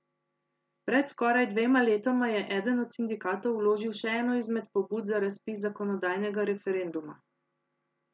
Pred skoraj dvema letoma je eden od sindikatov vložil še eno izmed pobud za razpis zakonodajnega referenduma.